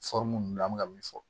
ninnu an bɛ ka min fɔ